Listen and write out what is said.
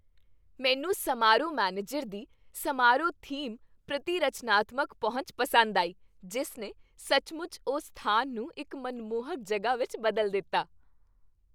ਮੈਨੂੰ ਸਮਾਰੋਹ ਮੈਨੇਜਰ ਦੀ ਸਮਾਰੋਹ ਥੀਮ ਪ੍ਰਤੀ ਰਚਨਾਤਮਕ ਪਹੁੰਚ ਪਸੰਦ ਆਈ, ਜਿਸ ਨੇ ਸੱਚਮੁੱਚ ਉਸ ਸਥਾਨ ਨੂੰ ਇੱਕ ਮਨਮੋਹਕ ਜਗ੍ਹਾ ਵਿੱਚ ਬਦਲ ਦਿੱਤਾ।